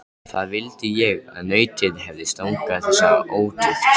Það vildi ég að nautið hefði stangað þessa ótukt!